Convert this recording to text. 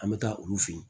An bɛ taa olu fɛ yen